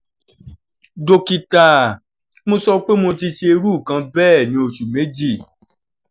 dókítà mi sọ pé mo ti ṣe irú nǹkan bẹ́ẹ̀ ní oṣù méjì